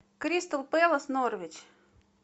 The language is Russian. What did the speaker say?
кристал пэлас норвич